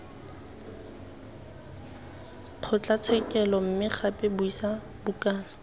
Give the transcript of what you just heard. kgotlatshekelo mme gape buisa bukana